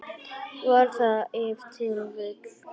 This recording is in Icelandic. Var það ef til vill.